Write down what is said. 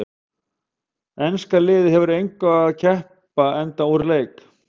Enska liðið hefur að engu að keppa enda úr leik.